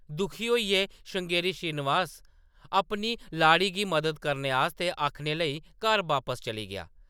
दुखी होइयै , श्रृंगेरी श्रीनिवास अपनी लाड़ी गी मदद करने आस्तै आखने लेई घर बापस चली गेआ ।